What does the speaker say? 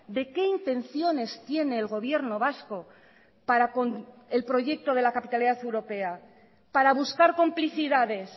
de qué intenciones tiene el gobierno vasco para el proyecto de la capitalidad europea para buscar complicidades